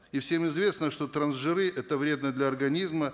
и всем известно что трансжиры это вредно для организма